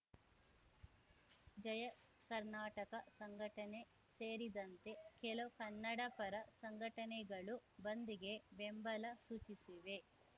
ಜಯ ಕರ್ನಾಟಕ ಸಂಘಟನೆ ಸೇರಿದಂತೆ ಕೆಲ ಕನ್ನಡಪರ ಸಂಘಟನೆಗಳು ಬಂದ್‌ಗೆ ಬೆಂಬಲ ಸೂಚಿಸಿವೆ